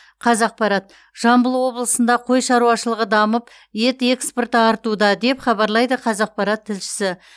қазақпарат жамбыл облысында қой шаруашылығы дамып ет экспорты артуда деп хабарлайды қазақпарат тілшісі